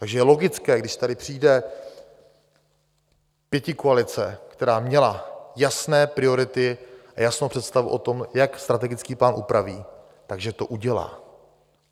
Takže je logické, když tady přijde pětikoalice, která měla jasné priority a jasnou představu o tom, jak strategický plán upraví, tak že to udělá.